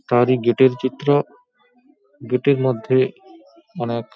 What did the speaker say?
তারই গেট -এর চিত্র। গেট -এর মধ্যে অনেক --